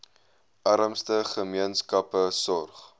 armste gemeenskappe sorg